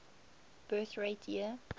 birth rate year